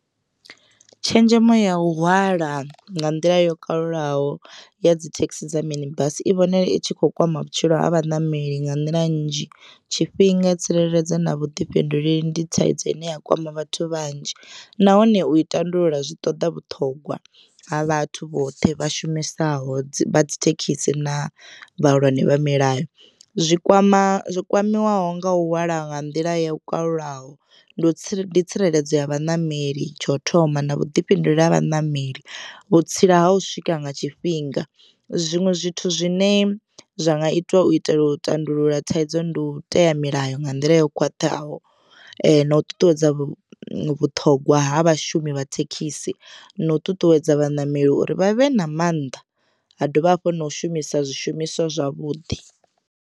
Tshenzhemo ya u hwala nga nḓila yo kalulaho ya dzi thekhisi dza mini basi i vhonala i tshi kho kwama vhutshilo ha vhaṋameli nga nḓila nnzhi tshifhinga, tsireledzo na vhuḓifhinduleli ndi thaidzo ine ya kwama vhathu vhanzhi nahone u i tandulula zwi ṱoḓa vhuṱhongwa ha vhathu vhoṱhe vha shumisaho dzi vha dzi thekhisi na vhahulwane vha milayo. Zwikwama zwi kwamiwaho nga u hwala nga nḓila yo kalulaho ndi tsireledzo ya vhaṋameli tsha u thoma na vhuḓifhinduleli ha vhaṋameli vhutsila ha u swika nga tshifhinga zwiṅwe zwithu zwine zwa nga itwa u itela u tandulula thaidzo ndi u tea milayo nga nḓila yo khwaṱhaho na u ṱuṱuwedza vhuṱhogwa ha vhashumi vha thekhisi na u ṱuṱuwedza vhaṋameli uri vhavhe na mannḓa ha dovha hafhu na u shumisa zwishumiswa zwavhuḓi.